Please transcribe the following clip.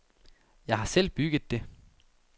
Jeg har selv bygget det.